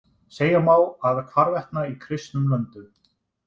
Segja má að hvarvetna í kristnum löndum.